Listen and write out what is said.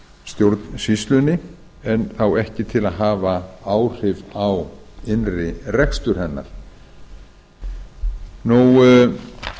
stjórnsýslunni en þá ekki til að hafa áhrif á innri rekstur hennar eins og